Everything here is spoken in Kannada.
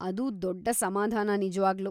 ಅದು ದೊಡ್ಡ ಸಮಾಧಾನ ನಿಜ್ವಾಗ್ಲೂ.